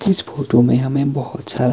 इस फोटो में हमें बहोत सारा--